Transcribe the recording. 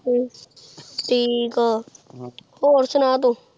ਹ੍ਮ੍ਮ੍ਮ ਠੀਕ ਆਹ ਹੋਰ ਸੁਨਾ ਤੂ